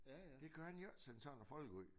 Det kan han jo ikke sende sådan noget folk ud